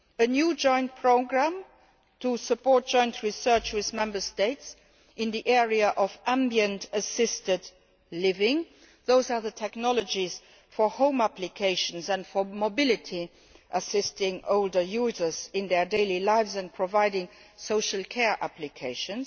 The first was a new joint programme to support joint research with Member States in the area of ambient assisted living those are the technologies for home applications and for mobility, assisting older users in their daily lives and providing social care applications.